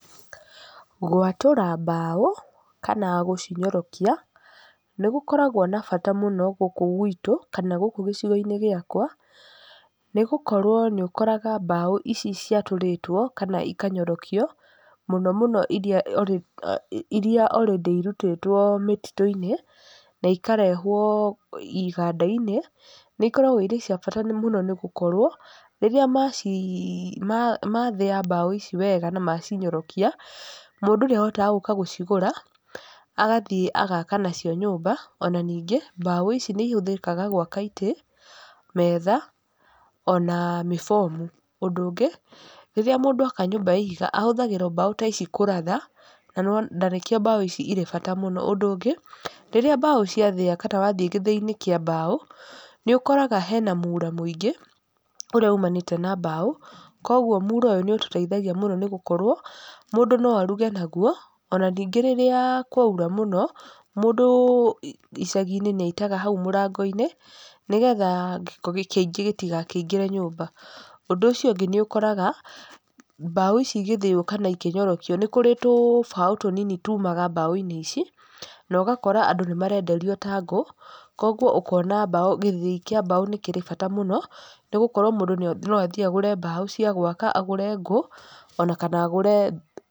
Gwatũra mbaũ, kana gũcinyorokia, nĩ gũkoragwo na bata mũno gũkũ gwitũ, kana gũkũ gĩcigo-inĩ gĩakwa. Nĩ gũkorwo nĩ ũkoraga mbaũ ici ciatũrĩtwo, kana ikanyorokio, mũno mũno irĩa irĩa already irutĩtwo mĩtitũ-inĩ, na ikarehwo iganda-inĩ, nĩ ikoragwo irĩ cia bata mũno nĩ gũkorwo, rĩrĩa mathĩa mbaũ ici wega na macinyorokia, mũndũ nĩ ahotaga gũka gũcigũra, agathiĩ agaaka nacio nyũmba. Ona ningĩ, mbaũ ici nĩ ihũthakaga gwaka itĩ, metha, ona mĩbomu. Ũndũ ũngĩ, rĩrĩa mũndũ aka nyũmba ya ihiga ahũthagĩra o mbaũ ta ici kũratha, na nĩwona na nĩkĩo mbaũ ici irĩa bata mũno. Ũndũ ũngĩ, rĩrĩa mbaũ ciathĩa kana wathiĩ gĩthĩi-inĩ kĩa mbaũ, nĩ ũkoraga hena mura mũingĩ, ũrĩa umanĩte na mbaũ. Koguo mura ũyũ nĩ ũtũteithagia mũno nĩ gũkorwo, mũndũ no aruge naguo, ona ningĩ rĩrĩa kwaura mũno, mũndũ icagi-inĩ nĩ aitaga hau mũrango-inĩ, nĩgetha gĩko kĩingĩ gĩtigakĩingĩre nyũmba. Ũndũ ũcio ũngĩ nĩ ũkoraga, mbaũ ici ĩgĩthĩyo kana ikĩnyorokio, nĩ kũrĩ tũbaũ tũnini tumaga mbaũ-inĩ ici, na ũgakora andũ nĩ marenderio ta ngũ, koguo ũkona mbaũ, gĩthĩi kĩa mbaũ nĩ kĩrĩ bata mũno, nĩ gũkorwo mũndũ no athiĩ agũre mbaũ cia gwaka, agũre ngũ, ona kana agũre...